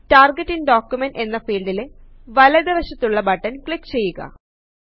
target in document എന്ന ഫീൽഡിലെ വലത് വശത്തുള്ള ബട്ടൺ ക്ലിക്ക് ചെയ്യുക